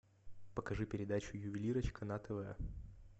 покажи передачу ювелирочка на тв